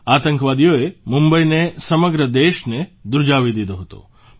આતંકવાદીઓએ મુંબઇને સમગ્ર દેશને ધ્રૂજાવી દીધો હતો